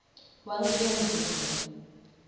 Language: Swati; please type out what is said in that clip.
wangiphendvula